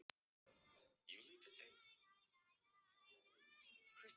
Bjarney, hvernig kemst ég þangað?